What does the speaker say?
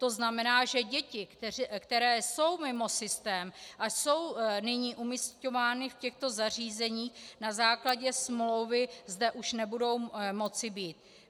To znamená, že děti, které jsou mimo systém a jsou nyní umísťovány v těchto zařízeních na základě smlouvy, zde už nebudou moci být.